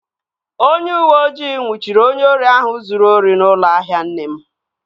Onye uweojii nnwuchiri onye ori ahụ zụrụ ori n'ụlọ ahịa nne m